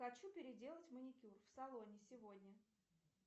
хочу переделать маникюр в салоне сегодня